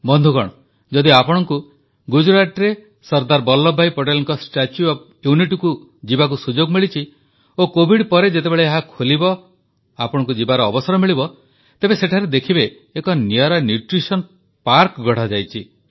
ବନ୍ଧୁଗଣ ଯଦି ଆପଣ ଗୁଜରାଟରେ ସର୍ଦ୍ଦାର ବଲ୍ଲଭଭାଇ ପଟେଲଙ୍କ ଷ୍ଟାଚ୍ୟୁ ଓଏଫ୍ ୟୁନିଟି ଯିବାକୁ ସୁଯୋଗ ମିଳିଛି ଓ କୋଭିଡ ପରେ ଯେତେବେଳେ ଏହା ଖୋଲିବ ଓ ଆପଣଙ୍କୁ ଯିବାର ଅବସର ମିଳିବ ତେବେ ସେଠାରେ ଦେଖିବେ ଏକ ନିଆରା ପୋଷଣ ପାର୍କ ଗଢ଼ାଯାଇଛି